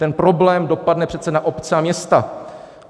Ten problém dopadne přece na obce a města.